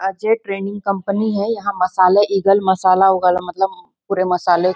Ajay training company हैं यहाँ मसाला इग्ल मसाला उगल मतलब पुरे मसाले --